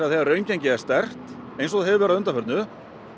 þegar raungengið er sterkt eins og það hefur verið að undanförnu